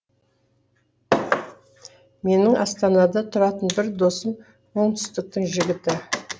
менің астанада тұратын бір досым оңтүстіктің жігіті